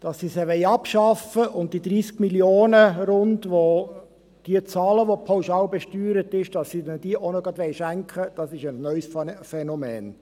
Dass sie sie abschaffen wollen und ihnen die rund 30 Mio. Franken, welche diejenigen bezahlen, welche pauschalbesteuert sind, auch gleich noch schenken wollen, ist ein neues Phänomen.